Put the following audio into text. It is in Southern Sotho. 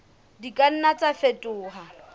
di ka nna tsa fetoha